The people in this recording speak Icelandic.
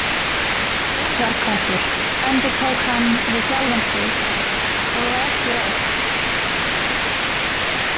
Urðarköttur, endurtók hann við sjálfan sig og var ekki rótt.